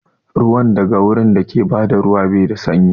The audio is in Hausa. Ruwa daga wurin dake bada ruwa bai da sanyi